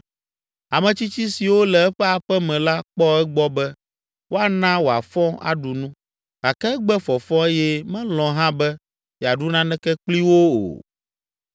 Ametsitsi siwo le eƒe aƒe me la kpɔ egbɔ be woana wòafɔ aɖu nu, gake egbe fɔfɔ eye melɔ̃ hã be yeaɖu naneke kpli wo o.